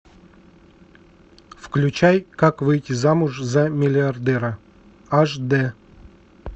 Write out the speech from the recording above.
включай как выйти замуж за миллиардера аш д